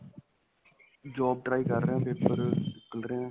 job try ਕਰ ਰਹਿਆ paper ਨਿੱਕਲ ਰਹੇ ਹੈ